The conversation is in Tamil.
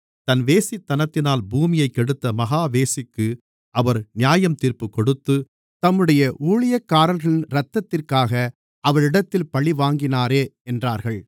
தன் வேசித்தனத்தினால் பூமியைக் கெடுத்த மகா வேசிக்கு அவர் நியாயத்தீர்ப்புக்கொடுத்து தம்முடைய ஊழியக்காரர்களின் இரத்தத்திற்காக அவளிடத்தில் பழிவாங்கினாரே என்றார்கள்